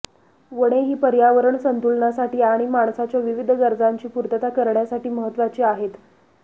वने ही पर्यावरण संतुलनासाठी आणि माणसाच्या विविध गरजांची पूर्तता करण्यासाठी महत्त्वाची आहेत